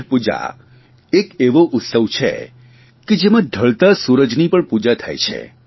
છઠ પૂજા એક એવો ઉત્સવ છે જેમાં ઢળતા સૂરજની પણ પૂજા થાય છે